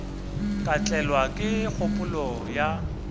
ka tlelwa ke kgopolo ya